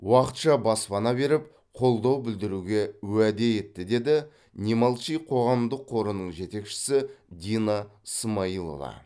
уақытша баспана беріп қолдау білдіруге уәде етті деді не молчи қоғамдық қорының жетекшісі дина смаилова